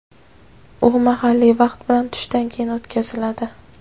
u mahalliy vaqt bilan tushdan keyin o‘tkaziladi.